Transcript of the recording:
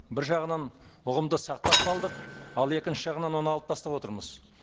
бір жағынан ұғымды сақтап қалдық ал екінші жағынан оны алып тастап отырмыз